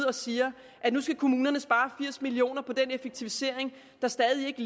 og siger at nu skal kommunerne spare firs million kroner på den effektivisering der stadig ikke